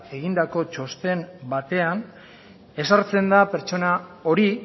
egindako txosten batean ezartzen da pertsona hori